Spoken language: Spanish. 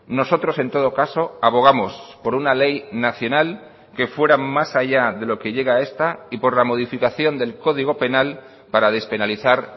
nosotros en todo caso abogamos por una ley nacional que fuera más allá de lo que llega esta y por la modificación del código penal para despenalizar